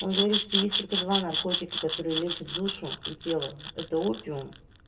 он говорит что есть только два наркотика который лечит душу и тело это опиум